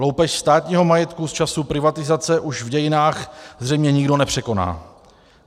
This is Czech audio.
Loupež státního majetku z časů privatizace už v dějinách zřejmě nikdo nepřekoná.